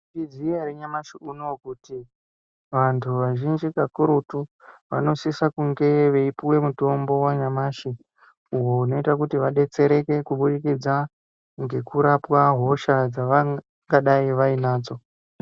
Iziya ranyashi unouyu kuti vantu vazhinji kakurutu vanosise kunge veipuwe mutombo wanyamashi uwo unoite kuti vadetsereke kubudikidza ngekurapwa hosha dzavangadai vainadzo